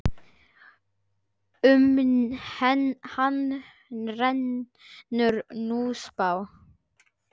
Um hann rennur Núpsá.